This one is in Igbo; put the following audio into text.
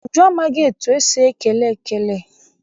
Uju amaghị etu esi ekele ekele.